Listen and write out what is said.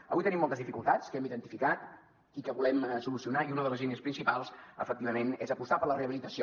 avui tenim moltes dificultats que hem identificat i que volem solucionar i una de les línies principals efectivament és apostar per la rehabilitació